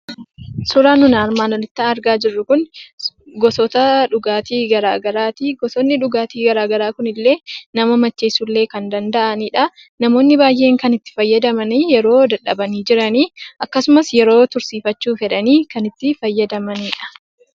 Suuraan nuti armaan olitti argaa jirru kun gosoota dhugaatii garaagaraati. Gosoonni dhugaatii garaagaraa kunillee nama macheessuullee kan danda'anidha. Namoonni baay'een kan itti fayyadaman yeroo dadhabanii jiran akkasumas yeroo tursiifachuuf jedhanii kan itti fayyadamanidha.